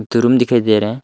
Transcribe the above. Room दिखाई दे रहा है।